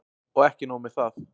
Og ekki nóg með það.